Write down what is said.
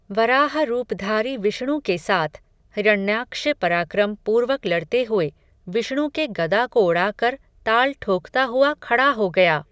वराह रूपधारी विष्णु के साथ, हिरण्याक्ष पराक्रम पूर्वक लड़ते हुए, विष्णु के गदा को उड़ा कर, ताल ठोकता हुआ खड़ा हो गया